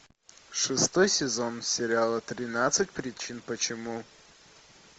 шестой сезон сериала тринадцать причин почему